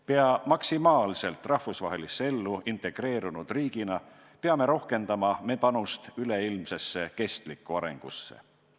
Pea maksimaalselt rahvusvahelisse ellu integreerunud riigina peame rohkendama oma panust üleilmsesse kestlikku arengusse.